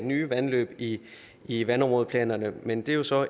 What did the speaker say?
nye vandløb i i vandområdeplanerne men det er jo så